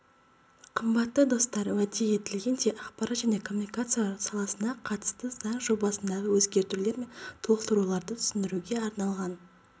қымбатты достар уәде етілгендей ақпарат және коммуникациялар саласына қатысты заң жобасындағы өзгертулер мен толықтыруларды түсіндіруге арналған